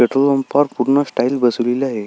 Petrol पंपा वर पूर्ण टाइल्स बसवलेली आहे.